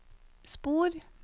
spor